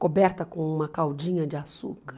Coberta com uma caldinha de açúcar.